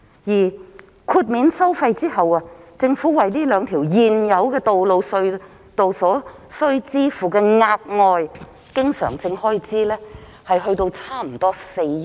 而豁免收費後，政府為這兩條現有的道路/隧道所須支付的額外經常開支估計約為每年4億元。